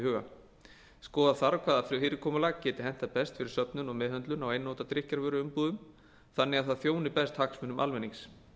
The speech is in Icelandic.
huga skoða þarf hvaða fyrirkomulag geti hentað best fyrir söfnun og meðhöndlun á einnota drykkjarvöruumbúðum þannig að það þjóni best hagsmunum almennings